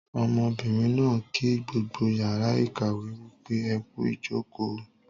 Ọmọbìnrin náà ń kí gbogbo yàrá ìkàwé wípé "ẹkú ìjòkó o"